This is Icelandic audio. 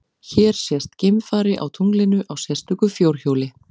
Hér sést geimfari á tunglinu á sérstöku fjórhjóli.